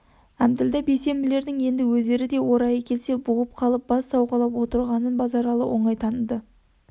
әбділда бейсенбілердің енді өздері де орайы келсе бұғып қалып бас сауғалап отырғанын базаралы оңай таныды